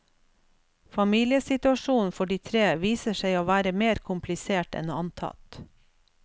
Familiesituasjonen for de tre viser seg å være mer komplisert enn antatt.